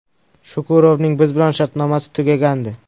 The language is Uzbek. Shukurovning biz bilan shartnomasi tugagandi.